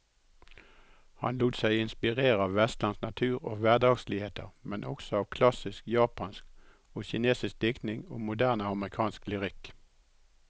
Han lot seg inspirere av vestlandsk natur og hverdagsligheter, men også av klassisk japansk og kinesisk diktning og moderne amerikansk lyrikk.